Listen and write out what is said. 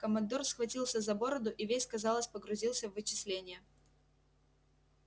командор схватился за бороду и весь казалось погрузился в вычисления